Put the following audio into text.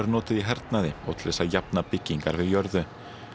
notuð í hernaði og til þess að jafna byggingar við jörðu